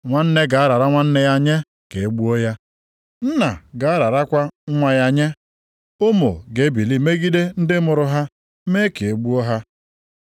“Nwanne ga-arara nwanne ya nye ka e gbuo ya, nna ga-ararakwa nwa ya nye. Ụmụ ga-ebili megide ndị mụrụ ha mee ka e gbuo ha.